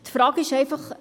Die Frage ist einfach: